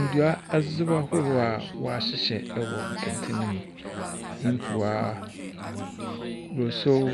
Ndua adziboa ahorow a wahyehyɛ wɔ kɛntɛn mu. Mpoa, brosow,